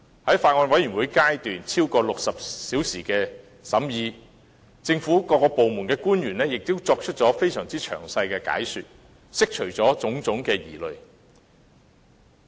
在法案委員會超過60小時的審議過程中，政府各部門官員作出了非常詳細的解說，釋除了種種疑慮。